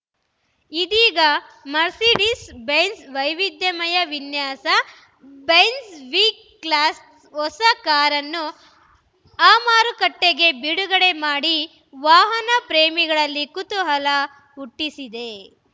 ಇದೀಗ Mercedes Benz ವೈವಿಧ್ಯಮಯ ವಿನ್ಯಾಸ ಬೆಂಝ್‌ ವಿ ಕ್ಲಾಸ್‌ ಹೊಸ ಕಾರನ್ನು ಅಮಾರುಕಟ್ಟೆಗೆ ಬಿಡುಗಡೆ ಮಾಡಿ ವಾಹನ ಪ್ರೇಮಿಗಳಲ್ಲಿ ಕುತೂಹಲ ಹುಟ್ಟಿಸಿದೆ